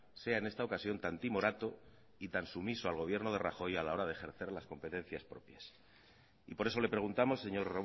sea en esta ocasión tan timorato y tan sumiso al gobierno de rajoy a la hora de ejercer las competencias propias y por eso le preguntamos señor